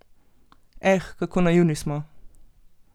Eh, kako naivni smo!